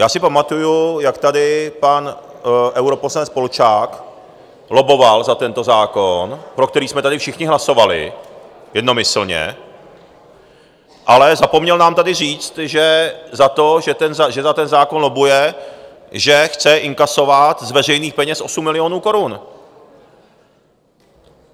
Já si pamatuji, jak tady pan europoslanec Polčák lobboval za tento zákon, pro který jsme tady všichni hlasovali jednomyslně, ale zapomněl nám tady říct, že za to, že za ten zákon lobbuje, že chce inkasovat z veřejných peněz 8 milionů korun.